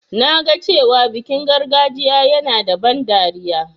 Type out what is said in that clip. Na ga cewa bikin gargajiyan yana da ban dariya.